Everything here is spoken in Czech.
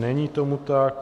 Není tomu tak.